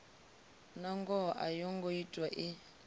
nangoho a yongo ṱwa i